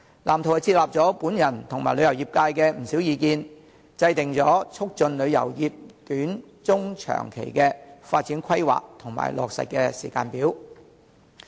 藍圖接納了我及旅遊業界的不少意見，制訂了促進旅遊業短、中、長期的發展規劃和落實時間表。